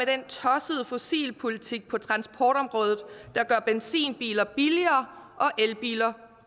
den tossede fossilpolitik på transportområdet der gør benzinbiler billigere og elbiler